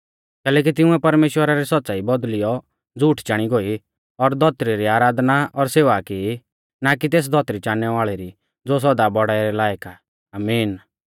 कैलैकि तिंउऐ परमेश्‍वरा री सौच़्च़ाई बौदल़ियौ झ़ूठ चाणी गोई और धौतरी री आराधना और सेवा की ना कि तेस धौतरी चाणनै वाल़ै री ज़ो सौदा बौड़ाई रै लायक आ आमीन